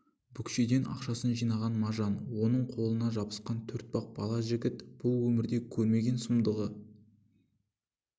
бүкшеңдеп ақшасын жинаған мажан оның қолына жабысқан төртбақ бала жігіт бұл өмірде көрмеген сұмдығы